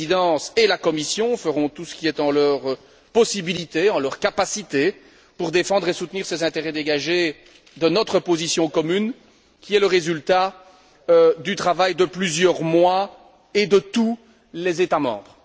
La Présidence et la Commission feront tout ce qui est en leur pouvoir, en leur capacité, pour défendre et soutenir ces intérêts dégagés de notre position commune, laquelle est le résultat du travail de plusieurs mois et de tous les États membres.